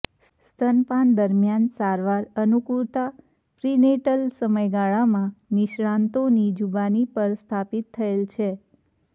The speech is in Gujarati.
સ્તનપાન દરમિયાન સારવાર અનુકૂળતા પ્રિનેટલ સમયગાળામાં નિષ્ણાતોની જુબાની પર સ્થાપિત થયેલ છે